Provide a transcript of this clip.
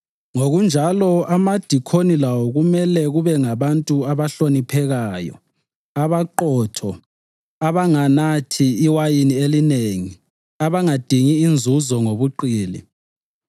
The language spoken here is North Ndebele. Ngokunjalo, amadikoni lawo kumele kube ngabantu abahloniphekayo, abaqotho, abanganathi iwayini elinengi, abangadingi inzuzo ngobuqili.